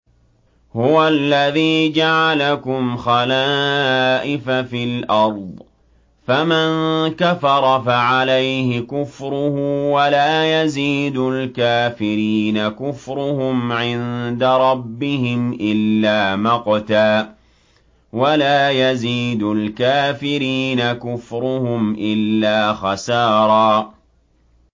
هُوَ الَّذِي جَعَلَكُمْ خَلَائِفَ فِي الْأَرْضِ ۚ فَمَن كَفَرَ فَعَلَيْهِ كُفْرُهُ ۖ وَلَا يَزِيدُ الْكَافِرِينَ كُفْرُهُمْ عِندَ رَبِّهِمْ إِلَّا مَقْتًا ۖ وَلَا يَزِيدُ الْكَافِرِينَ كُفْرُهُمْ إِلَّا خَسَارًا